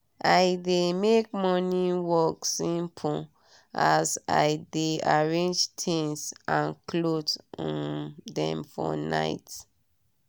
i dey make morning work simple as i dey arrange tinz and clothe um dem for night